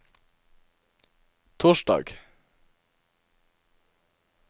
torsdag